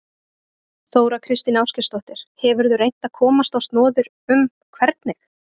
Þóra Kristín Ásgeirsdóttir: Hefurðu reynt að komast á snoðir um hvernig?